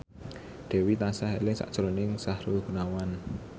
Dewi tansah eling sakjroning Sahrul Gunawan